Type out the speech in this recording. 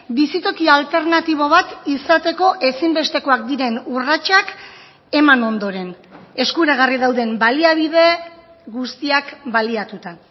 bizitokia alternatibo bat izateko ezinbestekoak diren urratsak eman ondoren eskuragarri dauden baliabide guztiak baliatuta